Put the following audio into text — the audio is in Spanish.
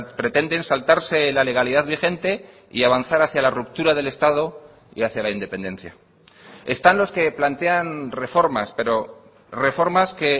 pretenden saltarse la legalidad vigente y avanzar hacia la ruptura del estado y hacia la independencia están los que plantean reformas pero reformas que